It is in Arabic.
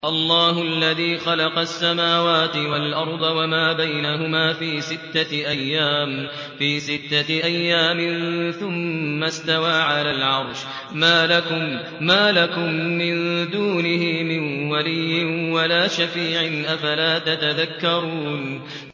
اللَّهُ الَّذِي خَلَقَ السَّمَاوَاتِ وَالْأَرْضَ وَمَا بَيْنَهُمَا فِي سِتَّةِ أَيَّامٍ ثُمَّ اسْتَوَىٰ عَلَى الْعَرْشِ ۖ مَا لَكُم مِّن دُونِهِ مِن وَلِيٍّ وَلَا شَفِيعٍ ۚ أَفَلَا تَتَذَكَّرُونَ